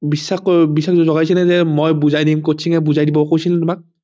বিশ্বাস কৰিবা বিশ্বাস জগাইছিলে নে মই বুজাই দিম coaching এ বুজাই দিব কৈছিল নে তোমাক